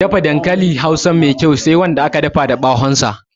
Dafa dankalin hausa Mai kyau Sai Wanda aka dafa da ɓawon sa